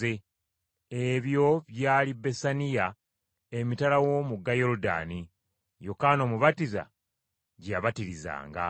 Ebyo byali Besaniya, emitala w’omugga Yoludaani, Yokaana Omubatiza gye yabatirizanga.